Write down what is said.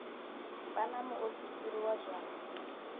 vha na muofisiri wa zwa